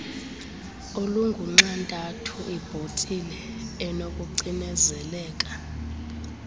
olungunxantathu ibhotile enokucinezeleka